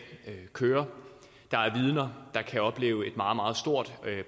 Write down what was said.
kører der er vidner der kan opleve et meget meget stort